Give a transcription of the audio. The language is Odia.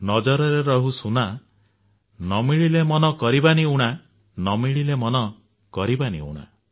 ନଜରରେ ରହୁ ସୁନା ନ ମିଳିଲେ ମନ କରିବନି ଉଣା